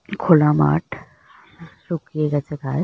খোলা মাঠ শুকিয়ে গেছে ঘাস ।